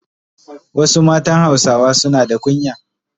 Wasu matan Hausawa suna na kunya.